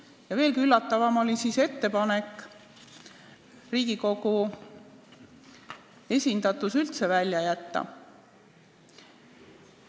Ja veelgi üllatavam oli ettepanek Riigikogu esindatus üldse välja jätta.